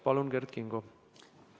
Palun, Kert Kingo!